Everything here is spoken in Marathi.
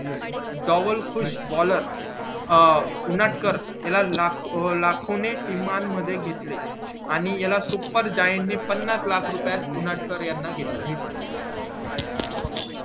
टॉवेल खुश baller उनाट्कार याला लाख याला लाखो ने किमान मध्ये घेतले याला सुपर जॉईन ने पन्नास लाख रुपयात उनाट्कार याला घेतले